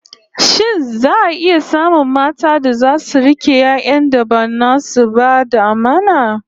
Shin za'a iya samun matan da zasu rike 'yan'yan da ba nasu ba da amana?